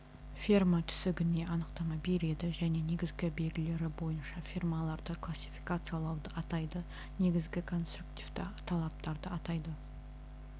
ферма түсінігіне анықтама береді және негізгі белгілері бойынша фермаларды классификациялауды атайды негізгі конструктивті талаптарды атайды